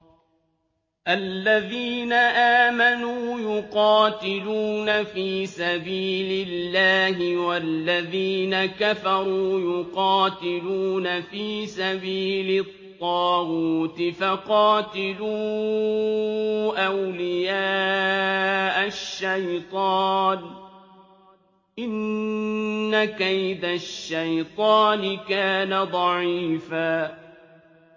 الَّذِينَ آمَنُوا يُقَاتِلُونَ فِي سَبِيلِ اللَّهِ ۖ وَالَّذِينَ كَفَرُوا يُقَاتِلُونَ فِي سَبِيلِ الطَّاغُوتِ فَقَاتِلُوا أَوْلِيَاءَ الشَّيْطَانِ ۖ إِنَّ كَيْدَ الشَّيْطَانِ كَانَ ضَعِيفًا